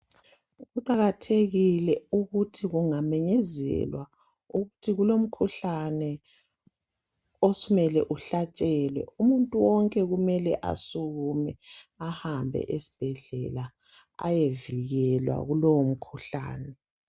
Kuqakathekile ukuthi kungamenyezelwa ukuthi kulomkhuhlane osumele uhlatshelwe .Umuntu wonke kumele asukume ahambe esbhedlela ayevikelwa kulowo mkhuhlane .